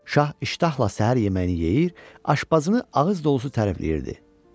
Şah iştahla səhər yeməyini yeyir, aşpazını ağız dolusu tərifləyirdi.